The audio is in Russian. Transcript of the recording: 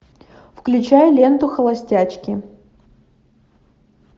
включай ленту холостячки